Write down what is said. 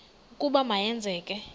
ukuba ma yenzeke